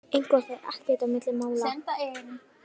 Eitthvað fer ekkert á milli mála